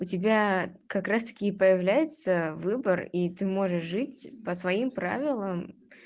у тебя как раз-таки и появляется выбор и ты можешь жить по своим правилам